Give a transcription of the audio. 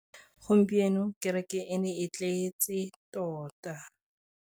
Gompieno kêrêkê e ne e tletse tota.